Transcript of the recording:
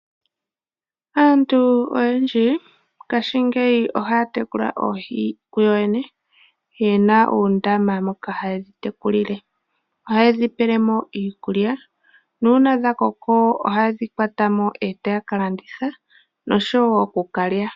Aantu oyendji mongashingeyi ohaya tekula oohi kuyo yene, yena uundama moka hayedhi tekulile. Ohaye dhipelemo iikulya, nuuna dhakoko ohayedhi kwatamo, e taya kalanditha, noshowo okukalya.